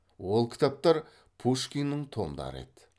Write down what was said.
ол кітаптар пушкиннің томдары еді